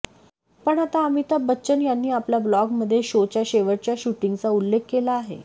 पण आता अमिताभ बच्चन यांनी आपल्या ब्लॉगमध्ये शोच्या शेवटच्या शूटिंगचा उल्लेख केला आहे